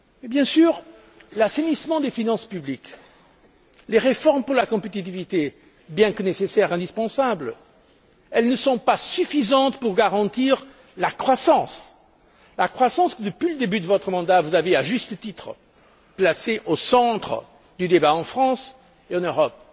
Bien sûr, l'assainissement des finances publiques, les réformes pour la compétitivité, bien que nécessaires, indispensables même, ne sont pas suffisants pour garantir la croissance que, depuis le début de votre mandat, vous avez, à juste titre, placée au centre du débat en France et en Europe.